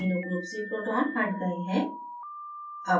amino group से proton हट गए हैं